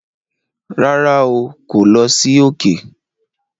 Rárá,o kò lọ sí òkè